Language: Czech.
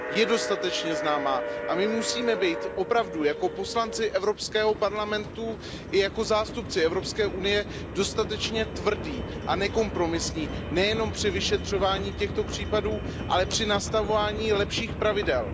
Je dostatečně známá a my musíme být opravdu jako poslanci Evropského parlamentu i jako zástupci Evropské unie dostatečně tvrdí a nekompromisní nejenom při vyšetřování těchto případů, ale při nastavování lepších pravidel.